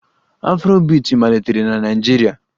Afrobiiti malitere na Naịjirịa